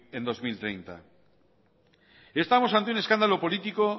en dos mil treinta estamos ante un escándalo político